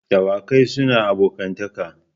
Dawakai suna abokantaka.